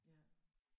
Ja